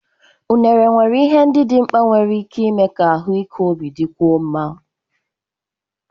Unere nwere ihe ndị dị mkpa nwere ike ime ka ahụike obi dịkwuo mma